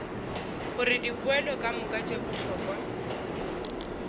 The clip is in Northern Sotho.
gore dipoelo kamoka tše bohlokwa